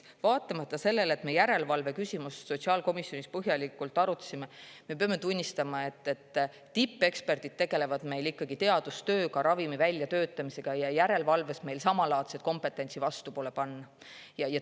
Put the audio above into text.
Me järelevalveküsimust sotsiaalkomisjonis põhjalikult arutasime ja me peame tunnistama, et tippeksperdid tegelevad meil Eestis ikkagi teadustööga, ravimite väljatöötamisega, aga järelevalves meil samalaadset kompetentsi vastu pole panna.